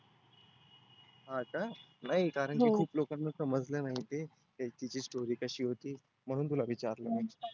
हो का? नाही कारण की खुप लोकांना समजलं नाही ते. त्यांची ती story कशी होती. म्हणुन तुला विचारलं